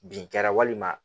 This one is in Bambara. Bin kɛra walima